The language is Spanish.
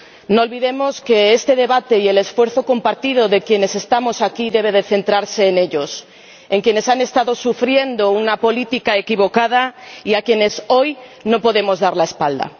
No olvidemos que este debate y el esfuerzo compartido de quienes estamos aquí deben centrarse en ellos, en quienes han estado sufriendo una política equivocada y a quienes hoy no podemos dar la espalda.